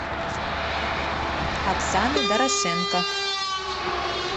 оксаны дорошенко